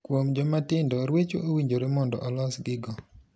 Kuom joma tindo ruecho owinjore mondo olos gi go.